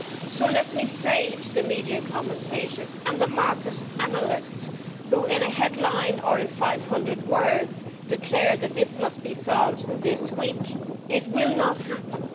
So let me say to the media commentators and the market analysts who in a headline or in 500 words declare that this must be solved this week it will not happen.